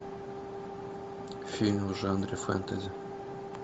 фильм в жанре фэнтези